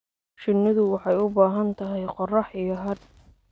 Shinnidu waxay u baahan tahay qorrax iyo hadh.